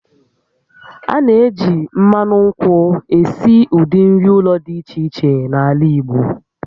A na-eji mmanụ nkwụ esi ụdị nri ụlọ dị iche iche n'ala Igbo